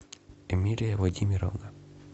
эмилия владимировна